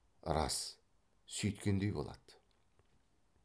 рас сүйткендей болады